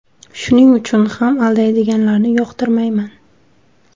Shuning uchun ham aldaydiganlarni yoqtirmayman.